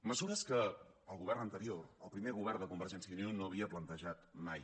mesures que el govern anterior el primer govern de convergència i unió no havia plantejat mai